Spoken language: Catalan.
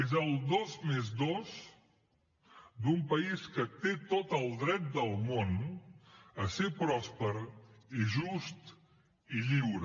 és el dos més dos d’un país que té tot el dret del món a ser pròsper i just i lliure